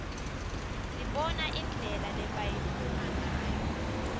sibona indlela lebayitfunga ngayo